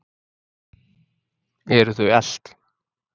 Eru þau elt?